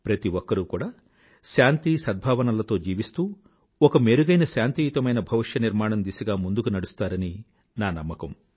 ప్రతి ఒక్కరూ కూడా శాంతి సద్భావనలతో జీవిస్తూ ఒక మెరుగైన శాంతియుతమైన భవిష్య నిర్మాణం దిశగా ముందుకు నడుస్తారని నా నమ్మకం